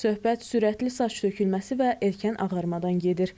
Söhbət sürətli saç tökülməsi və erkən ağarmadan gedir.